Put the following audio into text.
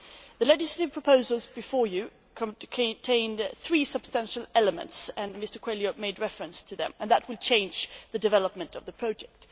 The legislative proposals before you contained three substantial elements Mr Coelho made reference to them, and that will change the development of the project.